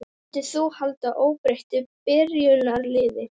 Myndir þú halda óbreyttu byrjunarliði?